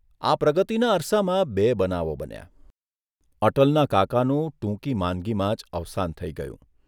આ પ્રગતિના અરસામાં બે બનાવો બન્યાઃ અટલના કાકાનું ટૂંકી માંદગીમાં જ અવસાન થઇ ગયું.